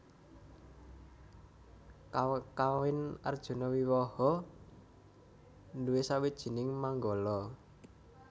Kakawin Arjunawiwaha nduwé sawijining manggala